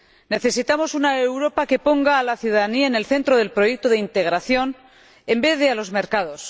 Necesitamos una Europa que ponga a la ciudadanía en el centro del proyecto de integración en vez de a los mercados